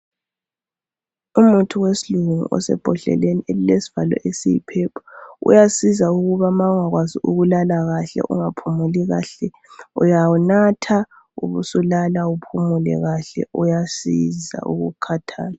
Umuthi wesilungu osebhodleleni elilesivalo esiyipurple. Uyasiza ukuba ma ungakwazi ukulala kahle ungaphumuli kahle uyawunatha ubusulala uphumule kahle uyasiza ukukhathala.